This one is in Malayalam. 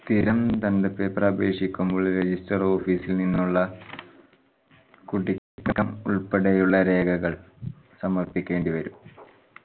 സ്ഥിരം paper അപേക്ഷിക്കുമ്പോൾ register office ഇൽ നിന്നുള്ള ഉൾപ്പെടെയുള്ള രേഖകൾ സമർപ്പിക്കേണ്ട വരും